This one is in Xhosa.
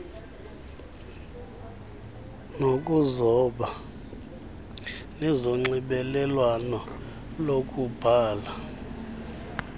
zokuzoba nezonxibelelwano lokubhala